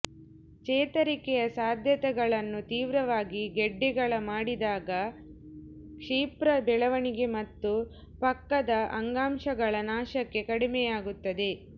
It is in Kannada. ಚೇತರಿಕೆಯ ಸಾಧ್ಯತೆಗಳನ್ನು ತೀವ್ರವಾಗಿ ಗೆಡ್ಡೆಗಳ ಮಾಡಿದಾಗ ಕ್ಷಿಪ್ರ ಬೆಳವಣಿಗೆ ಮತ್ತು ಪಕ್ಕದ ಅಂಗಾಂಶಗಳ ನಾಶಕ್ಕೆ ಕಡಿಮೆಯಾಗುತ್ತದೆ